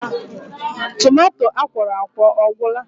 Tomato akwọrọakwọ ọ gwụla?